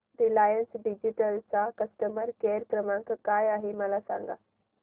Reliance digital चा customer care क्रमांक काय आहे मला सांगा